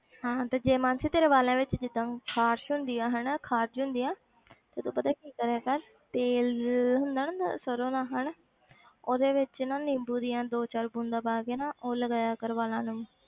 ਹਾਂ ਤੇ ਜੇ ਮਾਨਸੀ ਤੇਰੇ ਵਾਲਾਂ ਵਿੱਚ ਜਿੱਦਾਂ ਖਾਰਸ ਹੁੰਦੀ ਆ ਹਨਾ ਖਾਜ ਹੁੰਦੀ ਹੈ ਤੇ ਤੂੰ ਪਤਾ ਕੀ ਕਰਿਆ ਕਰ, ਤੇਲ ਹੁੰਦਾ ਨਾ ਸਰੋਂ ਦਾ ਹਨਾ ਉਹਦੇ ਵਿੱਚ ਨਾ ਨਿੰਬੂ ਦੀਆਂ ਦੋ ਚਾਰ ਬੂੰਦਾਂ ਪਾ ਕੇ ਨਾ ਉਹ ਲਗਾਇਆ ਕਰ ਵਾਲਾਂ ਨੂੰ।